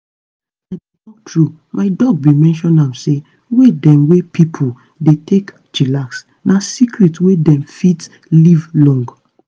i dey talk truth my doc bin mention am say way dem wey pipo dey take chillax na secret wey dem fit take live long.